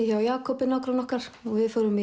hjá Jakobi nágranna okkar og við förum